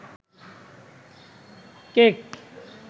cake